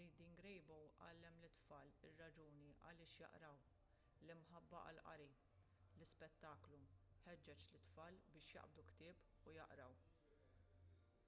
reading rainbow għallem lit-tfal ir-raġuni għaliex jaqraw,...l-imħabba għall-qari — [l-ispettaklu] ħeġġeġ lit-tfal biex jaqbdu ktieb u jaqraw.